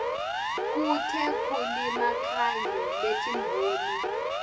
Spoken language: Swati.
kutekulima kanye netimboni